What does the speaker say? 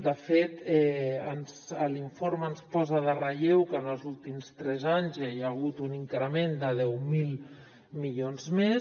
de fet l’informe ens posa en relleu que en els últims tres anys hi ha hagut un increment de deu mil milions més